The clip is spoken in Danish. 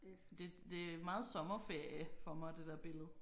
Det det er meget sommerferie for mig det der billede